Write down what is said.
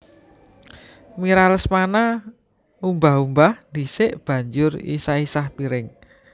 Mira Lesmana umbah umbah dhisik banjur isah isah piring